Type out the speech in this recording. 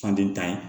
Fan den ta ye